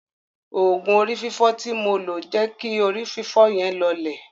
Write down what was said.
Òògùn orí fífọ́ tí mò ń lo jẹ́ kí orí fífọ́ yẹn lọọlẹ̀.